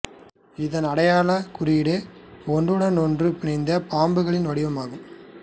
இதன் அடையாளக் குறியீடு ஒன்றுடனொன்று பிணைந்த பாம்புகளின் வடிவம் ஆகும்